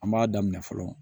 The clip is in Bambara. An b'a daminɛ fɔlɔ